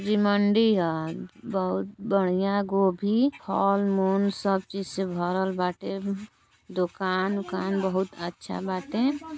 जी मंडी ह। बहुत बढ़ियां गोभी हॅल मून सब चीज से भरल बाटे। दुकान वुकान बहुत अच्छा बाटे।